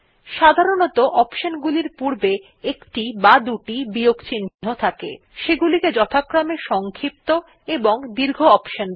সাধারণত অপশন গুলির পূর্বে একটি বা দুটি বিয়োগ চিন্হ থাকে থাকে সেগুলিকে যথাক্রমে সংক্ষিপ্ত এবং দীর্ঘ অপশন বলে